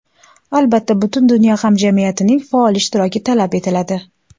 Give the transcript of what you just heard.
Albatta, butun dunyo hamjamiyatining faol ishtiroki talab etiladi.